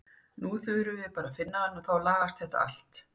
Nú þurfum við bara að finna hann og þá lagast þetta allt.